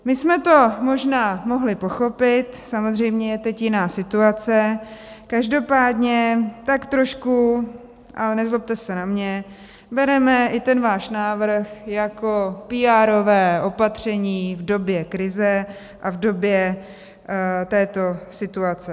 My jsme to možná mohli pochopit, samozřejmě je teď jiná situace, každopádně tak trošku, a nezlobte se na mě, bereme i ten váš návrh jako píárové opatření v době krize a v době této situace.